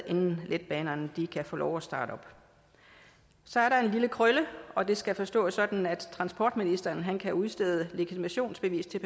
inden letbanerne kan få lov at starte så er der en lille krølle og det skal forstås sådan at transportministeren kan udstede legitimationsbevis til